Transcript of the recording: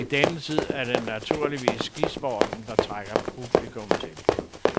I denne tid er det naturligvis skisporten, der trækker publikum til.